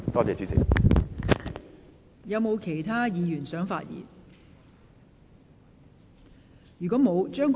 是否有其他議員想發言？